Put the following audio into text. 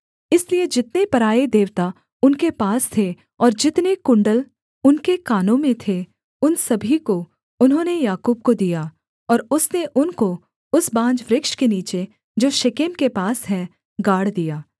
इसलिए जितने पराए देवता उनके पास थे और जितने कुण्डल उनके कानों में थे उन सभी को उन्होंने याकूब को दिया और उसने उनको उस बांज वृक्ष के नीचे जो शेकेम के पास है गाड़ दिया